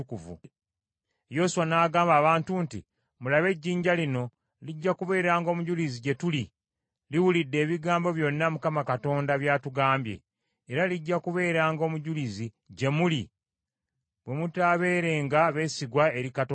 Yoswa n’agamba abantu nti, “Mulabe ejjinja lino lijja kubeeranga omujulizi gye tuli, liwulidde ebigambo byonna Mukama Katonda bya tugambye. Era lijja kubeeranga omujulizi gye muli bwe mutaabeerenga beesigwa eri Katonda wammwe.”